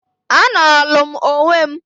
"A nolu m onwe m...."